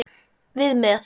Við með.